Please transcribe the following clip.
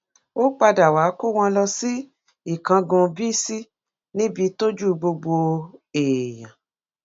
ó padà wàá kó wọn lọ sí ìkángun bíisì níbi tójú gbogbo èèyàn